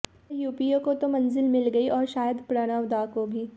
पर यूपीए को तो मंजिल मिल गई और शायद प्रणव दा को भी